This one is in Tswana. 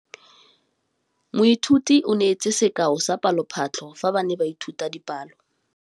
Moithuti o neetse sekaô sa palophatlo fa ba ne ba ithuta dipalo.